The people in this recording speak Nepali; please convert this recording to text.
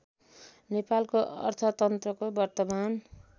नेपालको अर्थतन्त्रको वर्तमान